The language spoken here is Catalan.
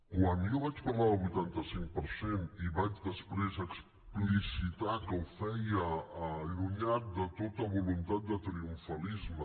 quan jo vaig parlar del vuitanta cinc per cent i vaig després explicitar que ho feia allunyat de tota voluntat de triomfalisme